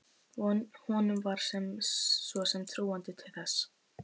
Honum var svo sem trúandi til þess.